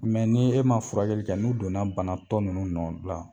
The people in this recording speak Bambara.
Mɛ ni e ma furakɛli kɛ n'u donna bana tɔ ninnu nɔ la